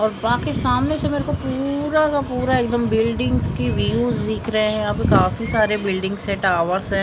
और वहां के सामने तो मेरे को पूरा का पूरा एकदम बिल्डिंग के व्यूज दिख रहे हैं काफी सारे बिल्डिंग्स टावर्स है।